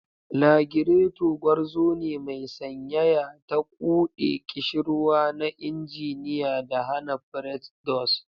Lagirato, gwarzo ne mai sanyaya, ta quɗe ƙishirwa na injiniya da hana pretdos.